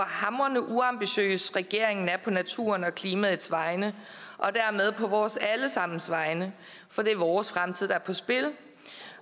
hamrende uambitiøs regeringen er på naturens og klimaets vegne og dermed på vores alle sammens vegne for det er vores fremtid der er på spil